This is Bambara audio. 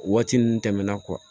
Waati ninnu tɛmɛna